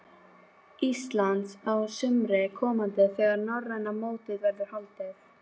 Íslands á sumri komanda þegar norræna mótið verður haldið.